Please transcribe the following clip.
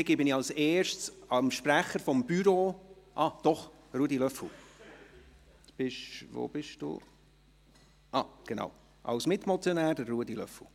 Dann gebe ich zuerst dem Sprecher des Büros ... Doch, als Mitmotionär Ruedi Löffel.